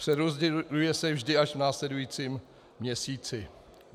Přerozděluje se vždy až v následujícím měsíci.